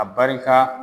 A barika